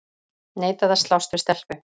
Neitaði að slást við stelpu